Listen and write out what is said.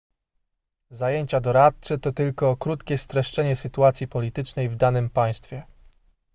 zajęcia doradcze to tylko krótkie streszczenie sytuacji politycznej w danym państwie